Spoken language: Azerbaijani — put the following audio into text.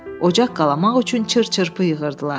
Ocaq qalamaq üçün çır-çırpı yığırdılar.